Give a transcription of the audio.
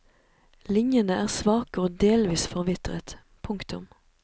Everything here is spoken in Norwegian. Linjene er svake og delvis forvitret. punktum